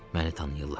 Məni tanıyırlar.